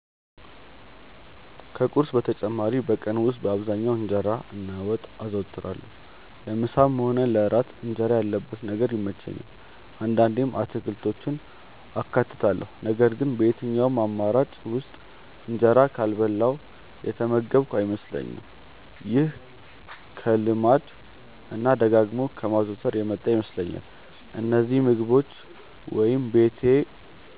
ከቁርስ በተጨማሪ በቀን ውስጥ በአብዛኛው እንጀራ እና ወጥ አዘወትራለሁ። ለምሳም ሆነ ለእራት እንጀራ ያለበት ነገር ይመቸኛል። አንዳንዴም አትክልቶችን አካትታለሁ ነገር ግን በየትኛውም አማራጭ ውስጥ እንጀራ ካልበላሁ የተመገብኩ አይመስለኝም። ይሄ ከልማድ እና ደጋግሞ ከማዘውተር የመጣ ይመስለኛል። እነዚህን ምግቦች ወይ ቤቴ